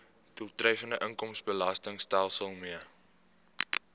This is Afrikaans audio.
doeltreffende inkomstebelastingstelsel mee